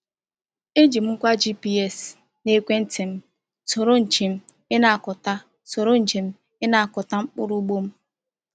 E ji m ngwa GPS n’ekwenti m soro njem ịnakọta soro njem ịnakọta mkpụrụ ugbo m.